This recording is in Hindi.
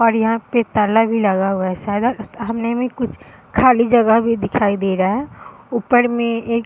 और यहाँ पे एक ताला भी लगा हुआ है। सादा सामने में कुछ खली जगह भी दिखाई दे रहा है ऊपर में एक--